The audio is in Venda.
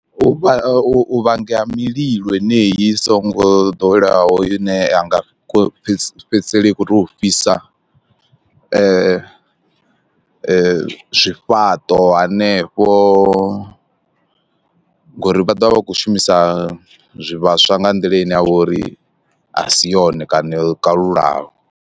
U vha u vhangela mililo yeneyi i songo ḓoweleyaho ine a nga fhedzisela i khou tea u fhisa zwifhaṱo hanefho, ngori vha ḓovha vha kho shumisa zwivhaswa nga nḓila ine ya vha uri a si yone kana yo kalulaho.